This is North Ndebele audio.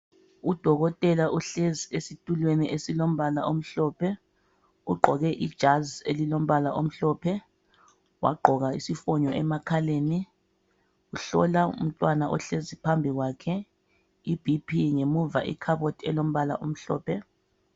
Udokotela uhlezi esitulweni esilombala omhlophe, ugqoke ijazi elilombala omhlophe. Wagqoka isifonyo emakhaleni. Uhlola umntwana ohlezi phambi kwakhe iBP. Ngemuva ikhabothi elombala omhlophe.